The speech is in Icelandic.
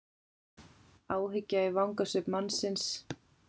Áhyggja í vangasvip mannsins.